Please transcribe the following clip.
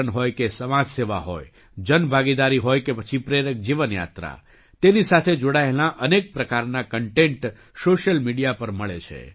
પર્યટન હોય કે સમાજ સેવા હોય જનભાગીદારી હોય કે પછી પ્રેરક જીવન યાત્રા તેની સાથે જોડાયેલાં અનેક પ્રકારનાં કન્ટેન્ટ સૉશિયલ મીડિયા પર મળે છે